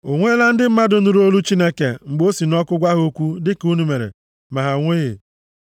O nweela ndị mmadụ nụrụ olu Chineke mgbe o si nʼọkụ gwa ha okwu dịka unu mere, ma ha anwụghị?